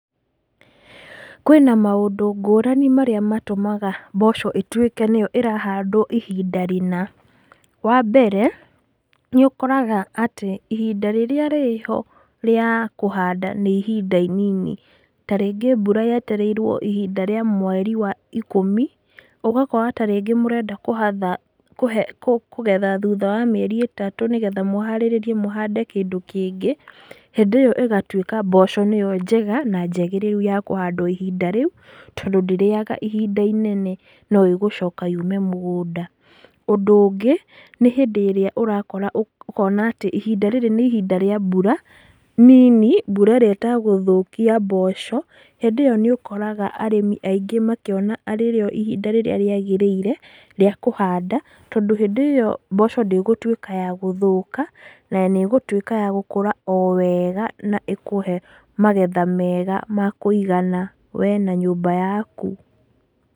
Kwĩna maũndũ ngũrani marĩa matũmaga mboco ĩtuĩke nĩyo ĩrahandwo ihinda rĩna, wa mbere nĩ ũkoraga atĩ ihinda rĩrĩa rĩho rĩa kũhanda nĩ ihinda inini, ta rĩngĩ mbura yetereirwo ihinda rĩa mweri wa ikũmi, ũgakora ta rĩngĩ mũrenda kũgetha thutha wa mĩeri itatũ, nĩgetha mũharĩrĩe mũhande kĩndũ kĩngĩ, hĩndĩ ĩyo ĩgatuĩka mboco nĩyo njega na njagĩrĩru ya kũhandwo ihinda rĩu, tondũ ndĩriaga ihinda inene no igũcoka yũme mũgũnda, ũndũ ũngĩ nĩ hĩndĩ ĩrĩa ũrakora ũkona atĩ ihinda rĩrĩ nĩ ihinda rĩa mbura nini, mbura ĩrĩa itagũthũkia mboco hĩndĩ ĩyo nĩ ũkoraga arĩmi aingĩ makĩona arĩrĩo ihinda rĩrĩa rĩagĩrĩire rĩa kũhanda, tondũ hĩndĩ ĩyo mboco ndĩgũtuĩka ya gũthũka na nĩĩgũtuĩka ya gũkũra o wega na ĩkũhe magetha mega makũigana we na nyũmba yaku.